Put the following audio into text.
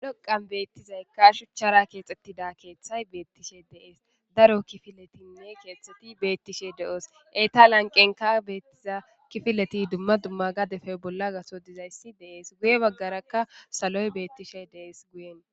dhoqan beettizaykka shuchchara keexxettida keeththay beettishe deees daro kifiletinne keextheti beettishe de7oos etalanqenka beettiza kifileti dumma dumma gadefe bolla gaso dizayssi deees guye baggarakka saloy beettishe dees guyen